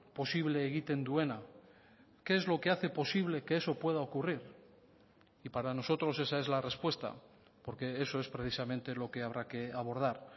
posible egiten duena qué es lo que hace posible que eso pueda ocurrir y para nosotros esa es la respuesta porque eso es precisamente lo que habrá que abordar